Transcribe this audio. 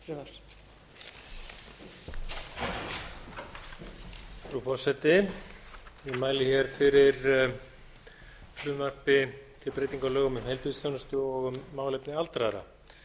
frú forseti ég mæli hér fyrir frumvarpi til breytinga á lögum um heilbrigðisþjónustu og lögum um málefni aldraðra